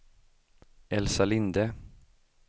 Elsa Linde